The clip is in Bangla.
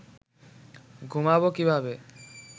ঘুমাব কীভাবে